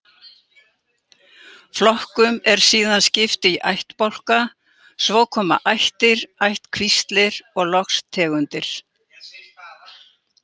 Flokkum er síðan skipt í ættbálka, svo koma ættir, ættkvíslir og loks tegundir.